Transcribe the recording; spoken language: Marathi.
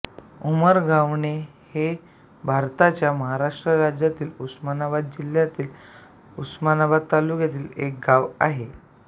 उमरेगव्हाण हे भारताच्या महाराष्ट्र राज्यातील उस्मानाबाद जिल्ह्यातील उस्मानाबाद तालुक्यातील एक गाव आहे